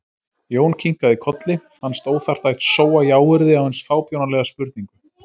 Jón kinkaði kolli, fannst óþarft að sóa jáyrði á eins fábjánalega spurningu.